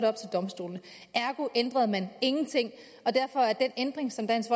op til domstolene ergo ændrede man ingenting og derfor er den ændring som dansk